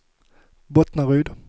Bottnaryd